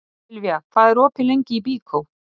Silvía, hvað er opið lengi í Byko?